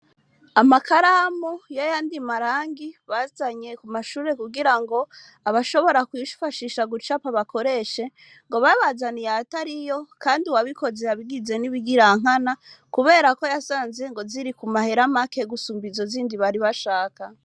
Amakaramu y'ayandi marangi bazanye ku mashure kugirango abashobora kwifashisha gucapa bakoreshe, ngo babazaniye ayatariyo, kandi uwabikoze yabigize n'ibigirankana, kubera ko yasanze ngo ziri ku mahera make gusumba izo zindi bari bashaka.